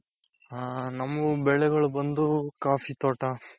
ಹ ನಮ್ಮೂರ್ ಬೆಳೆಗಳು ಬಂದು coffee ತೋಟ.